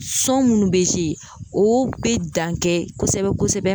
Sɔn munnu be ze o be dan kɛ kosɛbɛ kosɛbɛ